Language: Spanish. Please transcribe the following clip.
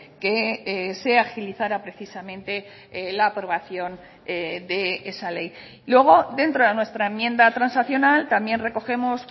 que se agilizara precisamente la aprobación de esa ley luego dentro de nuestra enmienda transaccional también recogemos